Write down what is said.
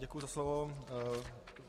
Děkuji za slovo.